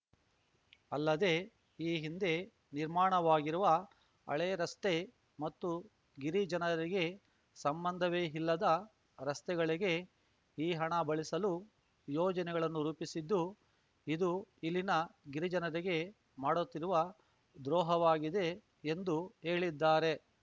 ಅಲ್ಲದೆ ಈ ಹಿಂದೆ ನಿರ್ಮಾಣವಾಗಿರುವ ಹಳೆ ರಸ್ತೆ ಮತ್ತು ಗಿರಿಜನರಿಗೆ ಸಂಬಂಧವೇ ಇಲ್ಲದ ರಸ್ತೆಗಳಿಗೆ ಈ ಹಣ ಬಳಸಲು ಯೋಜನೆಗಳನ್ನು ರೂಪಿಸಿದ್ದು ಇದು ಇಲ್ಲಿನ ಗಿರಿಜನರಿಗೆ ಮಾಡುತ್ತಿರುವ ದ್ರೋಹವಾಗಿದೆ ಎಂದು ಹೇಳಿದ್ದಾರೆ